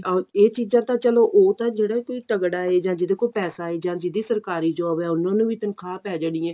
ਇਹ ਚੀਜ਼ਾਂ ਤਾਂ ਚਲੋ ਉਹ ਜਿਹੜਾ ਕੋਈ ਤਗੜਾ ਏ ਜਾਂ ਜਿਹੜੇ ਕੋਲ ਪੈਸਾ ਏ ਜਾਂ ਜਿਹਦੀ ਸਰਕਾਰੀ job ਏ ਉਹਨਾ ਨੂੰ ਵੀ ਤਨਖਾਹ ਪੈ ਜਾਣੀ ਏ